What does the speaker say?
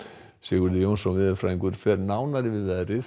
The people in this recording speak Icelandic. Sigurður Jónsson veðurfræðingur fer nánar yfir veðrið